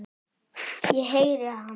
Ég heyri hans.